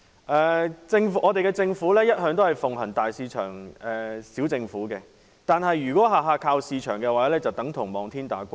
我們的政府一向奉行"大市場、小政府"，但如果事事要靠市場的話，即等同望天打卦。